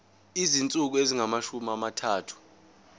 izinsuku ezingamashumi amathathu